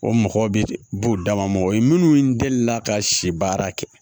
O mɔgɔ bɛ b'u dama ma o ye minnu deli la ka si baara kɛ